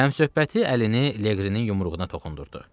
Həmsöhbəti əlini Leqrinin yumruğuna toxundurdu.